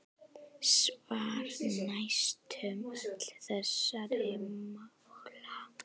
Svar: Næstum öll þessara mála